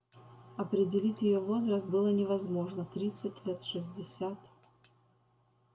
определить её возраст было невозможно тридцать лет шестьдесят